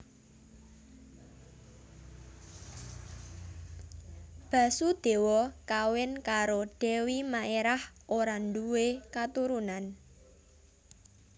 Basudéwa kawin karo Dèwi Maerah ora ndhuwe katurunan